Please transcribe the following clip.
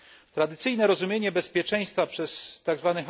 Tradycyjne rozumienie bezpieczeństwa przez tzw.